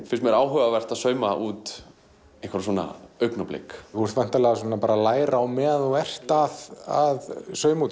finnst áhugavert að sauma út einhver svona augnablik þú ert væntanlega að læra á meðan þú ert að sauma út